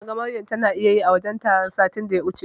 Naga Maryam tana ta iyayi a wajen taron satin da ya wuce.